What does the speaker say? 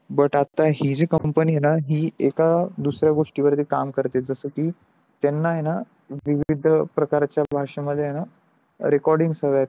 but आता हि जी company आहे न ही एक दुसऱ्या गोष्टी वर भी काम करते जस की त्यानं आहे न विविध प्रकारच्या भाषे मध्ये आहे न recordings हवे आहेत